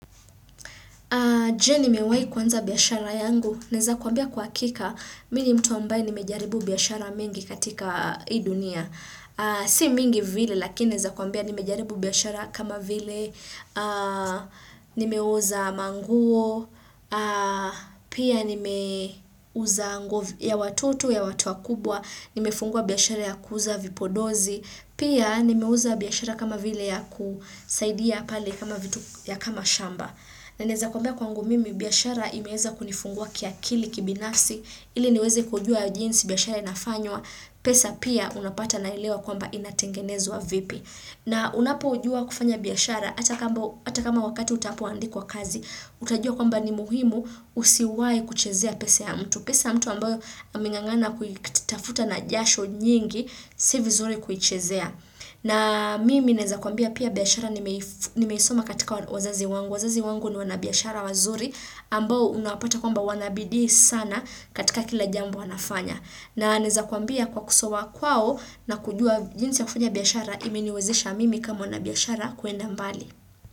Je nimewai kuanza biashara yangu, naweza kuambia kwa hakika, mimi ni mtu ambaye nimejaribu biashara mingi katika hii dunia. Si mingi vile lakini naweza kuambia nimejaribu biashara kama vile, nimeuza manguo, pia ni meuza ya watoto ya watu wakubwa, nimefungua biashara ya kuuza vipodozi, Pia nimeuza biashara kama vile ya kusaidia pale kama vitu ya kama shamba. Na naweza kuambia kwangu mimi, biashara imeweza kunifungua ki akili kibinafsi, ili niweze kujua jinsi biashara inafanywa, pesa pia unapata na elewa kwamba inatengenezwa vipi. Na unapo jua kufanya biashara, hata kama wakati utakapoandikwa kazi, utajua kwamba ni muhimu usiwai kuchezea pesa ya mtu. Pesa mtu ambayo amengangana kutafuta na jasho nyingi, si vizuri kuichezea. Na mimi naeza kuambia pia biashara nimeisoma katika wazazi wangu. Wazazi wangu ni wanabiashara wazuri ambao unapata kwamba wanabidii sana katika kila jambo wanafanya. Na neweza kuambia kwa kusoma kwao na kujua jinsi ya kufanya biashara imeniwezesha mimi kama wanabiashara kuenda mbali.